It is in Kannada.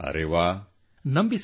ಅರೆ ವಾಹ್